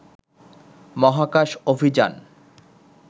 মহাকাশ অভিযান